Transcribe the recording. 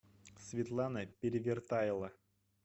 светлана перевертайло